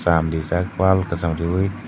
sam rijak wall kisam riyoe.